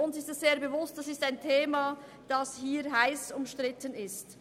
Es ist uns sehr bewusst, dass dieses Thema hier drin heiss umstritten ist.